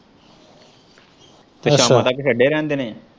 ਫੇਰ ਸ਼ਾਮਾਂ ਤੱਕ ਛੱਡੇ ਰਹਿਣ ਦੇਣੇ।